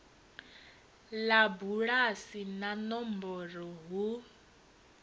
ḽa bulasi na nomboro hu